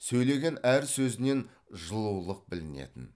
сөйлеген әр сөзінен жылулық білінетін